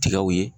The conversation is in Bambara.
Tigaw ye